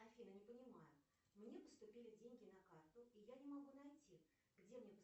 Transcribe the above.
афина не понимаю мне поступили деньги на карту и я не могу найти где